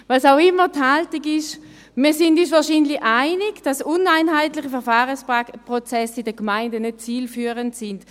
Was auch immer die Haltung ist: Wir sind uns wahrscheinlich einig, dass uneinheitliche Verfahrensprozesse in den Gemeinden nicht zielführend sind.